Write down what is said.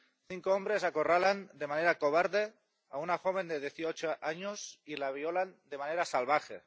Cinco hombres acorralan de manera cobarde a una joven de dieciocho años y la violan de manera salvaje.